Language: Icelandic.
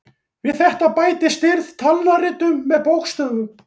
Við þetta bættist stirð talnaritun með bókstöfum.